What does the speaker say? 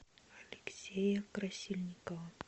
алексея красильникова